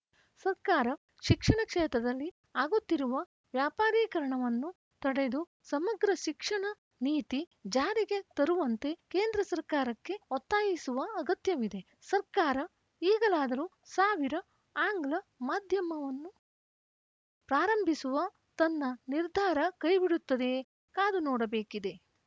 ಸರ್ಕಾರ ಶಿಕ್ಷಣ ಕ್ಷೇತ್ರದಲ್ಲಿ ಆಗುತ್ತಿರುವ ವ್ಯಾಪಾರೀಕರಣವನ್ನು ತಡೆದು ಸಮಗ್ರ ಶಿಕ್ಷಣ ನೀತಿ ಜಾರಿಗೆ ತರುವಂತೆ ಕೇಂದ್ರ ಸರ್ಕಾರಕ್ಕೆ ಒತ್ತಾಯಿಸುವ ಅಗತ್ಯವಿದೆ ಸರ್ಕಾರ ಈಗಲಾದರೂ ಸಾವಿರ ಆಂಗ್ಲ ಮಾಧ್ಯವನ್ನು ಪ್ರಾರಂಭಿಸುವ ತನ್ನ ನಿರ್ಧಾರ ಕೈಬಿಡುತ್ತದೆಯೇ ಕಾದುನೋಡಬೇಕಿದೆ